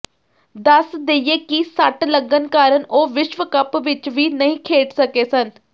ਦੱਸ ਦੇਈਏ ਕਿ ਸੱਟ ਲੱਗਣ ਕਾਰਨ ਉਹ ਵਿਸ਼ਵ ਕੱਪ ਵਿੱਚ ਵੀ ਨਹੀਂ ਖੇਡ ਸਕੇ ਸਨ